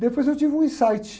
Depois eu tive um insight.